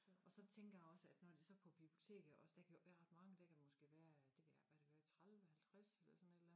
Og så tænker jeg også at når det så på biblioteket også der kan jo ikke været ret mange der kan måske være det ved jeg ikke hvad der kan være 30 50 eller sådan et eller andet